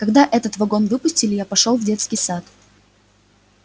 когда этот вагон выпустили я пошёл в детский сад